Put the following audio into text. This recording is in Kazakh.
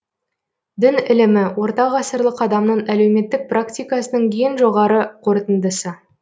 дін ілімі орта ғасырлық адамның әлеуметтік практикасының ең жоғары қорытындысы